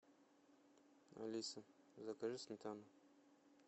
алиса закажи сметану